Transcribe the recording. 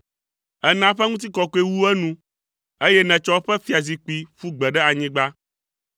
Èna eƒe ŋutikɔkɔe wu enu, eye nètsɔ eƒe fiazikpui ƒu gbe ɖe anyigba.